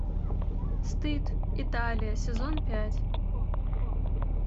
стыд италия сезон пять